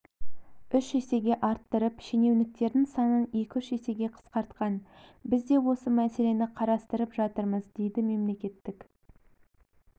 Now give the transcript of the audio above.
үш есеге арттырып шенеуніктердің санын екі-үш есеге қысқартқан біз де осы мәселені қарастырып жатырмыз дейдімемлекеттік